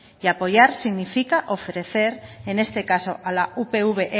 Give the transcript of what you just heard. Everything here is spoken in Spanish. y apoyar significa ofrecer en este caso a la upv